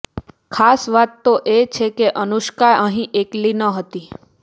ખાસ વાત તો એ છે કે અનુષ્કા અહીં એકલી ન હતી